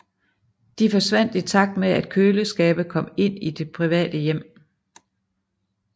De forsvandt i takt med at køleskabe kom ind i de private hjem